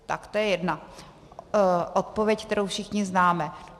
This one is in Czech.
Tak to je jedna odpověď, kterou všichni známe.